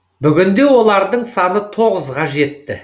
бүгінде олардың саны тоғызға жетті